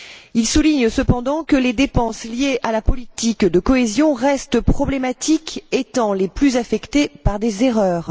Il souligne cependant que les dépenses liées à la politique de cohésion restent problématiques, étant les plus affectées par des erreurs.